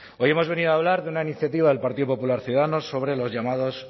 hoy hemos venido a hablar de una iniciativa del partido popular ciudadanos sobre los llamados